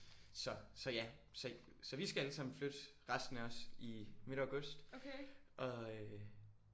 Så så ja så så vi skal alle sammen flytte resten af os i midt august og øh